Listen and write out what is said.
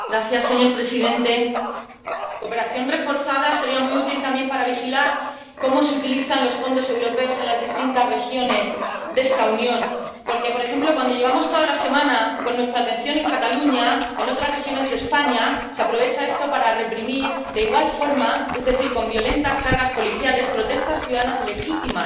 Señor presidente, la cooperación reforzada sería muy útil también para vigilar cómo se utilizan los fondos europeos en las distintas regiones de esta Unión, porque, por ejemplo, cuando llevamos toda la semana con nuestra atención en Cataluña, en otras regiones de España se aprovecha esto para reprimir de igual forma —es decir, con violentas cargas policiales— protestas ciudadanas legítimas,